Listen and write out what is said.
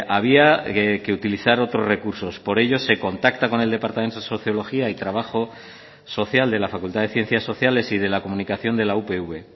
había que utilizar otros recursos por ello se contacta con el departamento de sociología y trabajo social de la facultad de ciencias sociales y de la comunicación de la upv